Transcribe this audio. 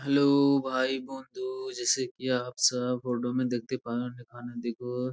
Hello ভাই বন্ধু জেইসে কি আপ সব ফটো মে দেখতে পান এখানে দেখো।